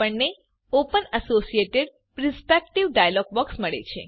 આપણને open associated perspective dialog box મળે છે